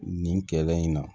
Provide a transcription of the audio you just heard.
Nin kɛlɛ in na